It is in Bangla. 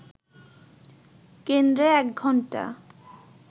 কেন্দ্রে এক ঘণ্টা